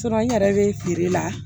n yɛrɛ bɛ feere la